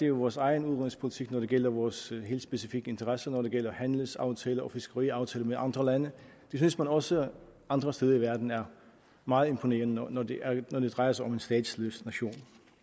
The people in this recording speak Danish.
jo vores egen udenrigspolitik når det gælder vores helt specifikke interesser når det gælder handelsaftaler og fiskeriaftaler med andre lande det synes man også andre steder i verden er meget imponerende når når det drejer sig om en statsløs nation